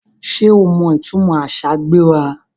Sé o mọ ìtúmọ àṣà ‘gbéra’?